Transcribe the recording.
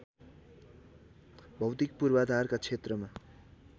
भौतिक पूर्वधारका क्षेत्रमा